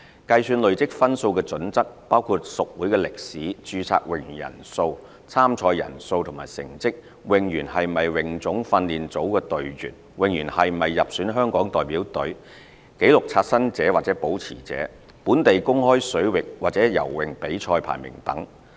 計算累積分數的準則，包括屬會歷史、註冊泳員人數、參賽人數及成績、泳員是否泳總訓練組隊員、泳員是否入選香港代表隊、紀錄刷新者或保持者、本地公開水域或游泳比賽排名等。